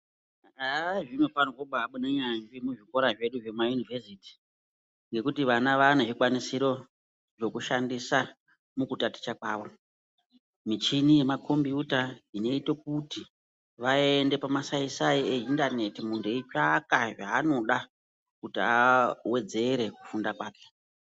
Haa zvinofarwa kumbaibude nyanzvi muzvikora zvedu zvemayunivhesiti ngekuti vana vaane zvikwanisiro zvekushandisa mukutaticha kwavo. Michini yemakombuyuta inoita kuti vaende pamasai sai eindaneti muntu eitsvaka zvaanoda kuti awedzere kufunda kwake.